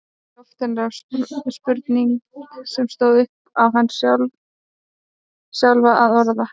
Í loftinu lá spurning sem stóð upp á hana sjálfa að orða.